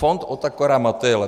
Fond Otakara Motejla.